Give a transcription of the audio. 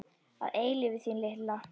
Að eilífu þín lilla.